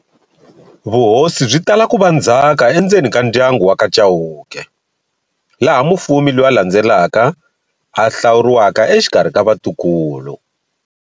Vuhosi byitala kuva ndzhaka endzeni ka ndyangu wa ka Chauke, laha mufumi loyi a landzelaka a hlawuriwa exikarhi ka vatukulu.